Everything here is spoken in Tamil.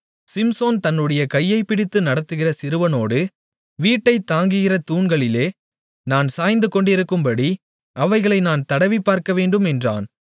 சிம்சோன் தன்னுடைய கையைப் பிடித்து நடத்துகிற சிறுவனோடு வீட்டைத் தாங்குகிற தூண்களிலே நான் சாய்ந்துகொண்டிருக்கும்படி அவைகளை நான் தடவிப் பார்க்கவேண்டும் என்றான்